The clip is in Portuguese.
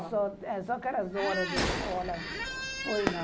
Só só aquelas horas da escola, pois não.